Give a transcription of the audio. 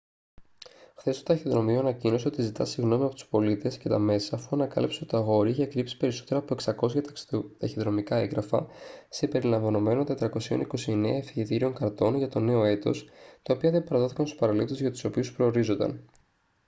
χθες το ταχυδρομείο ανακοίνωσε ότι ζητά συγγνώμη από τους πολίτες και τα μέσα αφού ανακάλυψε ότι το αγόρι είχε κρύψει περισσότερα από 600 ταχυδρομικά έγγραφα συμπεριλαμβανομένων 429 ευχετήριων καρτών για το νέο έτος τα οποία δεν παραδόθηκαν στους παραλήπτες για τους οποίους προορίζονταν